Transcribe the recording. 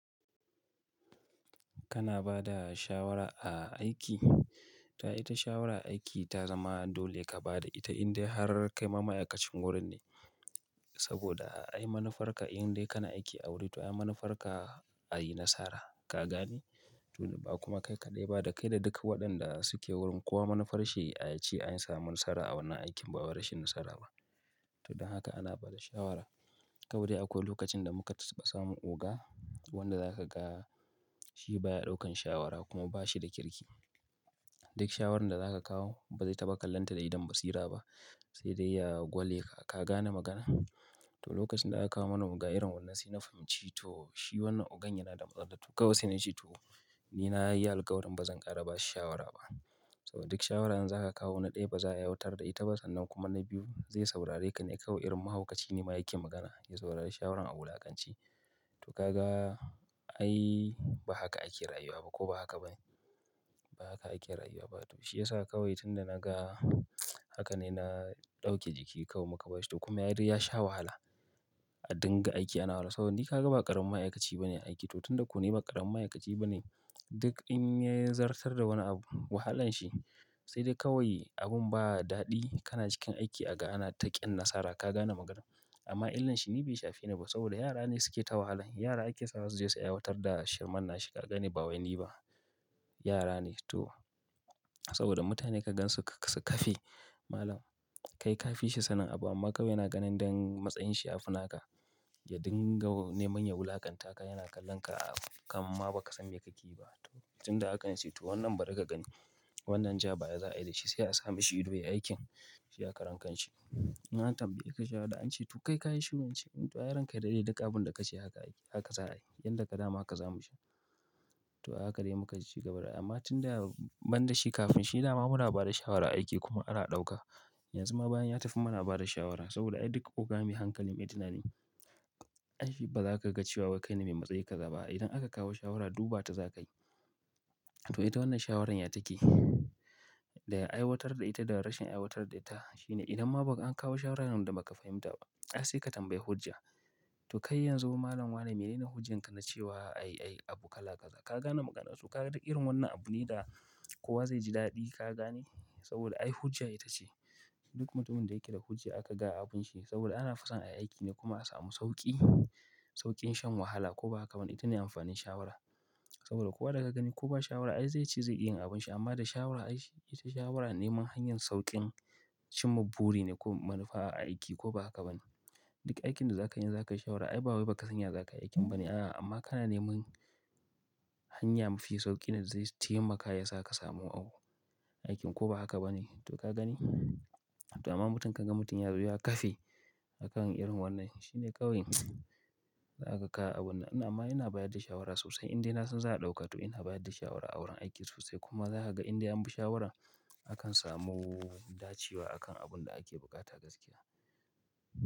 Kana ba da shawara a aiki, tuh ita shawara aiki ta zama dole ka ba da ita indai har kai ma ma'aikacin wurin ne. Saboda ai manufarka in dai kana aiki a wurin to ai manufarka a yi nasara, ka gane? To ba kuma kai kaɗai ba da kai da duk waɗanda suke wurin, kuwa manufar shi a yace an samu nasara a wannan aikin ba rashin nasara ba. To don haka ana ba da shawara. Kawai dai akwai lokacin da muka taba samun oga wanda za ka ga shi baya ɗaukan shawara kuma ba shi da kirki. Duk shawarar da zaka kawo ba zai taba kallonta da idon basira ba, sai dai ya gwale ka, ka gane magana? To lokacin da aka kawo mana oga irin wannan sai na fahimci to shi wannan ogan yana da matsala. To kawai sai na ce to ni na yi alƙawarin ba zan ƙara ba shi shawara ba. Saboda duk shawara in za ka kawo na ɗaya ba za ya wautar da ita ba sannan kuma na biyu zai saurare ka ne kawai irin mahaukaci ne ma yake magana, ya saurari shawaran a wulakance. To ka ga ai ba haka ake rayuwa ba ko ba haka ba ne? Ba haka ake rayuwa ba. To shi ya sa kawai tun da na ga haka ne na ɗauki jiki kawai muka ba shi to kuma ya dai ya sha wahala a dinga aiki ana wahala. Saboda ni ka ga ba ƙaramin ma'aikaci ba ne aiki to tun da ku ne ba ƙarin ma'aikaci ba ne. Duk in ya zartar da wani abu wahalan shi sai dai kawai abin ba daɗi kana cikin aiki a ga ana taƙiyan nasara, ka gane magana? Amma inlarshi ni baishafeni ba saboda yara ne suke ta wahalar yara ake sawa suje su aikatar da shirman nashi ba wai ni ba. Yara ne to. Saboda mutane ka gan su, su kafe malam kai ka fi shi sanin abu amma kawai yana ganin don matsayin shi a fina ka ya dinga neman ya wulakanta ka, yana kallon ka a kamamma ba ka san me kakeyi ba. To tun da haka in ce to wannan barika kagani, wannan ja ba ya za a yi da shi sai a sami shi ido ya aikin shi ya karen kan shi. Na tambaye ka shawara an ce to kai ka yi shiru ince. To ai ranka ya dade duk abun da ka ce haka aiki haka za a yi. Yanda ka dama haka za mu je to haka dai mukaci gaba dai. Amma tun da ban da shi kafin shi dama mura ba da shawara a aiki kuma ana ɗauka. Yanzu ma bayan ya tafi muna ba da shawara saboda ai duk oga mai hankali mai tunani, ai shi ba za ka ga cewa wai kai ne mai matsayi ka za ba. Idan aka kawo shawara duba ta za ka yi. To ita wannan shawarar ya take? Da ai watar da ita da rashin aiwatar da ita shine idan ma an kawo shawara nan da muka fahimta, ai sai ka tambayi hujja. To kai yanzu malam wane ne hujjan ka na cewa ai, ai abu kala ka za, ka gane maganarsu? Ka ga duk irin wannan abu ne da kowa zai ji daɗi, ka gane? Saboda ai hujja ita ce. Duk mutumin da yake da hujja aka ga abun shi saboda ana fusan a aiki ne kuma a samu sauƙi, sauƙin shan wahala ko ba haka ba ne? Ita ne amfanin shawara. Saboda kowa da ka gani kowa shawara ai zai ci zai iya yin abun shi amma da shawara ai ita shawara neman hanyar sauƙin cimma buri ne ko manufa a aiki ko ba haka ba ne. Duk aikin da za ka yi za ka yi shawara ai ba wai ba ka san ya za ka yi aikin ba ne. A'a amma kana neman hanya mafi sauƙi ne da zai taimaka ya sa ka samu aikin ko ba haka ba ne? To ka gani? To amma mutum ka ga mutum ya zo ya kafe a kan irin wannan shi ne kawai za a ka abun nan. Amma ina bayar da shawara sosai indai na san za a ɗauka to ina bayar da shawara a wurin aiki sosai kuma za ka ga inda an bi shawaran akan samu dacewa a kan abun da ake buƙata gaskiya.